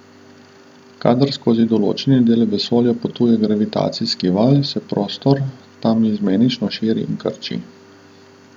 Kadar skozi določeni del vesolja potuje gravitacijski val, se prostor tam izmenično širi in krči.